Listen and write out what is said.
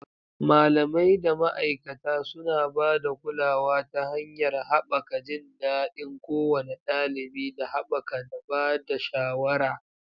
Malamai da ma'aikata suna ba da kulawa ta hanyar haɓaka jin daɗin kowane ɗalibi da haɓaka da ba da shawara.